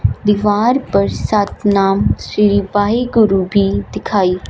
दीवार पर सतनाम शील वाहेगुरु भीं दिखाई--